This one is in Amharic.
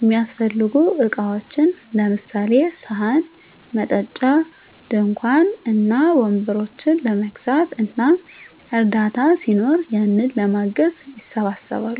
እሚያሰፈልጉ እቃዎችን ለምሳሌ፦ ሰሀን፣ መጠጫ፣ ድንኳን እና ወንበሮችን ለመግዛት እና እርዳታ ሲኖር ያንን ለማገዝ ይሰባሰባሉ።